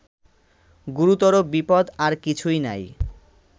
গুরুতর বিপদ্ আর কিছুই নাই